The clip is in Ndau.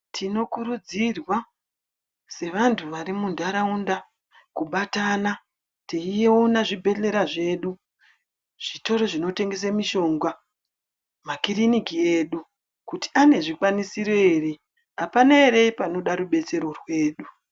Tinokurudzirwa sevantu vari muntaraunda kubatana teiona zvibhedhlera zvedu, zvitoro zvinotengese mishonga, makiriniki edu kuti ane zvikwanisiro ere, apana ere panoda rubatsiro rwedu.